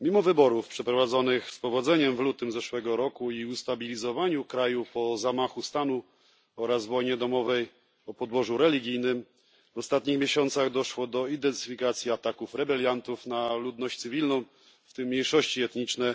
Mimo wyborów przeprowadzonych pomyślnie w lutym zeszłego roku i ustabilizowania kraju po zamachu stanu oraz wojnie domowej o podłożu religijnym w ostatnich miesiącach doszło do intensyfikacji ataków rebeliantów na ludność cywilną, w tym mniejszości etniczne,